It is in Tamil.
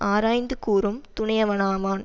ஆராய்ந்து கூறும் துணையவனாவான்